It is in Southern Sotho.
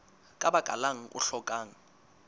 ka baka lang o hlokang